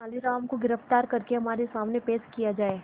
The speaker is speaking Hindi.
तेनालीराम को गिरफ्तार करके हमारे सामने पेश किया जाए